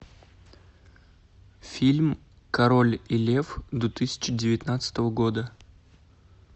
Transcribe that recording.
фильм король лев две тысячи девятнадцатого года